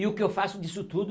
E o que eu faço disso tudo